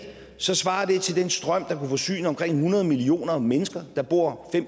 svarer til den strøm der kan forsyne omkring hundrede millioner mennesker der bor